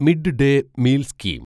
mid-day meal scheme